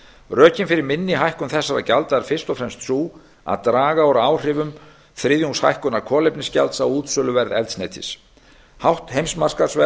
rökin fyrir minni hækkun þessara gjalda eru fyrst og fremst þau að draga úr áhrifum þriðjungshækkunar kolefnisgjalds á útsöluverð eldsneytis hátt heimsmarkaðsverð